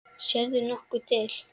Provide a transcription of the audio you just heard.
Sérðu nokkuð til?